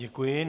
Děkuji.